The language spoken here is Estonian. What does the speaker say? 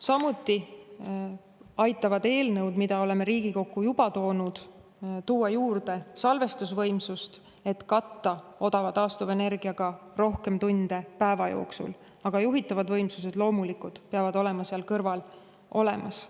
Samuti aitavad eelnõud, mida oleme Riigikokku juba toonud, tuua juurde salvestusvõimsust, et katta odava taastuvenergiaga rohkem tunde päeva jooksul, aga juhitavad võimsused loomulikult peavad olema seal kõrval olemas.